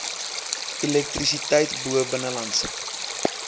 elektrisiteit bo binnelandse